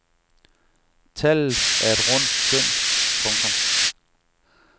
Tallet er et rundt skøn. punktum